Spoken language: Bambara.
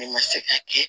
Ne ma se k'a kɛ